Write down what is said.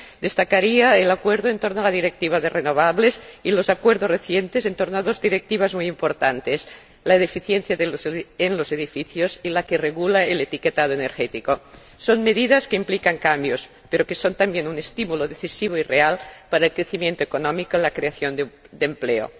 Destacaría el acuerdo en torno a la Directiva de renovables y los acuerdos recientes en torno a dos Directivas muy importantes la de eficiencia en los edificios y la que regula el etiquetado energético. Son medidas que implican cambios, pero que son también un estímulo decisivo y real para el crecimiento económico en la creación de empleo.